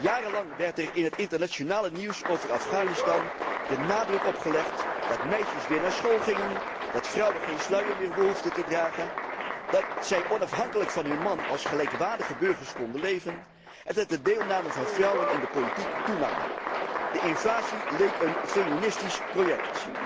Jarenlang werd er in het internationale nieuws over Afghanistan de nadruk op gelegd dat meisjes weer naar school gingen, dat vrouwen geen sluier meer hoefden te dragen, dat zij onafhankelijk van hun man als gelijkwaardige burgers konden leven en dat de deelname van vrouwen aan de politiek toenam. De invasie leek een feministisch project.